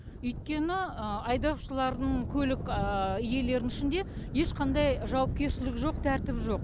өйткені айдаушылардың көлік иелерінің ішінде ешқандай жауапкершілік жоқ тәртіп жоқ